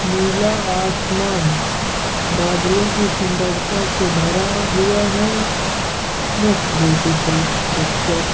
नीला आसमान बादलो की सुंदरता से भरा हुआ है। Most beautiful picture.